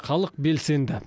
халық белсенді